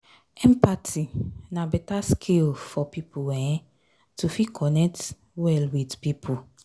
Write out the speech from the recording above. empathy na better skill for person um to fit connect well with pipo